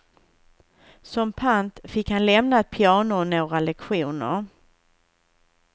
Som pant fick han lämna ett piano och några lektioner.